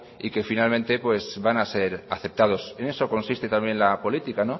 y que finalmente van a ser aceptados en eso consiste también la política